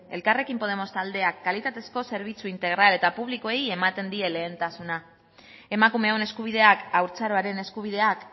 elkarrekin podemos taldeak kalitatezko zerbitzu integral eta publikoei ematen die lehentasuna emakumeon eskubideak haurtzaroaren eskubideak